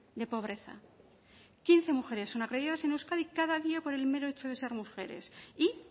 de pobreza quince mujeres son agredidas en euskadi cada día por el mero hecho de ser mujeres y